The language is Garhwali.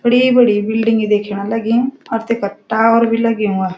बडी-बडी बिल्डिंगी देख्यण लगीं और तेफर टावर भी लग्युं वा।